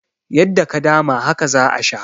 Yadda ka dama, haka za a sha.